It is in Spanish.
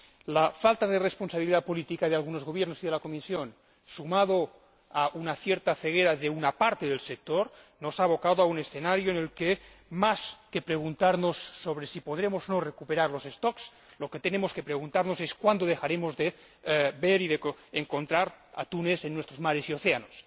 La falta de responsabilidad política de algunos gobiernos y de la Comisión, sumada a una cierta ceguera de una parte del sector, nos ha abocado a un escenario en el que, más que preguntarnos sobre si podremos o no recuperar las poblaciones, lo que tenemos que preguntarnos es cuándo dejaremos de ver y de encontrar atunes en nuestros mares y océanos.